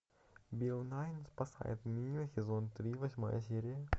билл най спасает мир сезон три восьмая серия